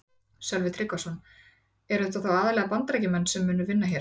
Sölvi Tryggvason: Eru þetta þá aðallega Bandaríkjamenn sem munu vinna hér?